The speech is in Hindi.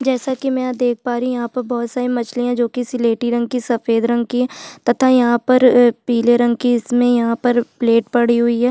जैसा की मैं यहाँ देख पा रही हूँ यहाँ पे बोहोत सारी मछलियाँ जो की सिलेटी रंग कि सफ़ेद रंग की तथा यहाँ पर अ पिले रंग कि इसमे यहाँ पर प्लेट पडी हुई है।